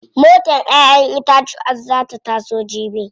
Motar ƴaƴen itatuwan zaa ta iso jibi.